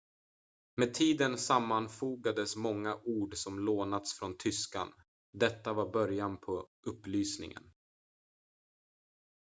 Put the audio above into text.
med tiden sammanfogades många ord som lånats från tyskan detta var början på upplysningen